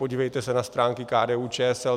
Podívejte se na stránky KDU-ČSL.